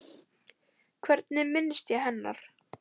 Hvernig minnist ég hennar?